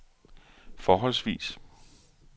forholdsvis